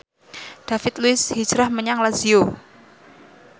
David Luiz hijrah menyang Lazio